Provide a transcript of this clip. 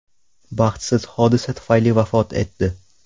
baxtsiz hodisa sababli vafot etdi.